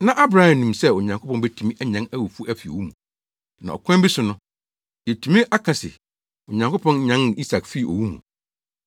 Na Abraham nim sɛ Onyankopɔn betumi anyan awufo afi owu mu, na ɔkwan bi so no, yebetumi aka se Onyankopɔn nyan Isak fii owu mu.